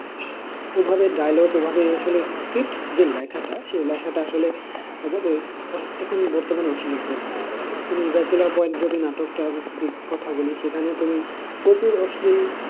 ওভাবে dialogue ওভাবে আসলে script যে লেখাটা, সেই লেখাটা আসলে এখন বর্তমানে অশ্লীলতায় ভরে গেছে, তুমি bachelor point যদি নাটকটার কথা বলি সেখানে তুমি প্রচুর অশ্লীল